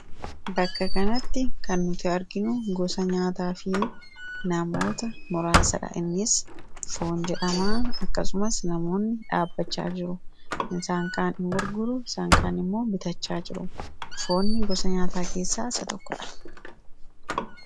Bakka kanatti kan nuti arginu gosa nyaataa fi namoota muraasadha. Innis foon jedhamaa akkasumas namoonni dhaabbachaa jiru isaan kaan ni gurguuru isaan kaan immoo bitachaa jiru foonni gosa nyaataa keessaa isa tokko dha.